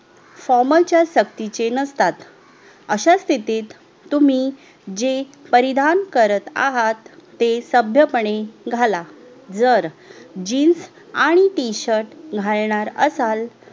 FORMAL च्या सक्तीचे नसतात अश्या स्थितीत तुम्ही जे परिधान करीत आहात ते सभ्य पणे घाला जर जीन्स आणि टी शर्ट घालणार असाल